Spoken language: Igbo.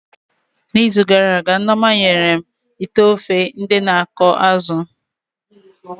Na izu gara aga, Nneoma nyere m ite ofe ndị na akọ azụ